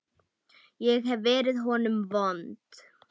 Ég hef verið honum vond.